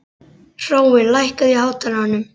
Hrói, lækkaðu í hátalaranum.